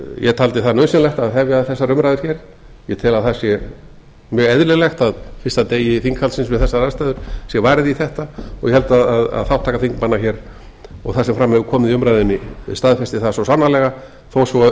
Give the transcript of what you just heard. ég taldi það nauðsynlegt að hefja þessar umræður hér ég tel að það sé mjög eðlilegt að fyrsta degi þinghaldsins við þessar aðstæður sé varið í þetta og ég held að þátttaka þingmanna hér og það sem hefur komið fram í umræðunni staðfesti það svo sannarlega þó svo